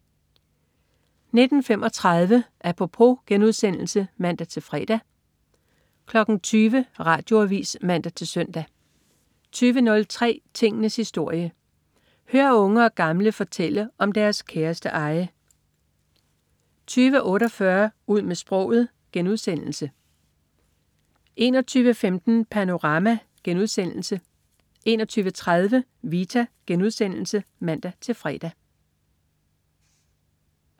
19.35 Apropos* (man-fre) 20.00 Radioavis (man-søn) 20.03 Tingenes historie. Hør unge og gamle fortælle om deres kæreste eje 20.48 Ud med sproget* 21.15 Panorama* 21.30 Vita* (man-fre)